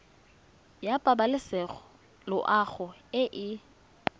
ya pabalesego loago e e